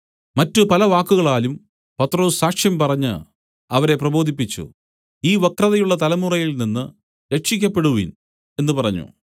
മറ്റ് പല വാക്കുകളാലും പത്രൊസ് സാക്ഷ്യം പറഞ്ഞ് അവരെ പ്രബോധിപ്പിച്ചു ഈ വക്രതയുള്ള തലമുറയിൽനിന്ന് രക്ഷിയ്ക്കപ്പെടുവിൻ എന്ന് പറഞ്ഞു